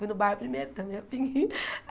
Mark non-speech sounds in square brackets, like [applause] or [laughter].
Fui no bar primeiro. Tomei a pin [laughs]